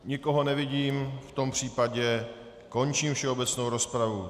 Nikoho nevidím, v tom případě končím všeobecnou rozpravu.